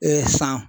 san